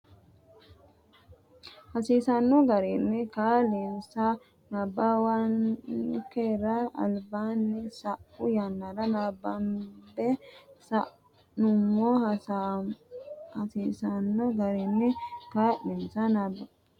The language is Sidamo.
hasiisanno garinni kaa linsa nabbawankera albaanni sa u yannara nabbambe sa nummo hasiisanno garinni kaa linsa nabbawankera albaanni sa u.